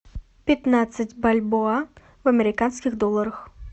пятнадцать бальбоа в американских долларах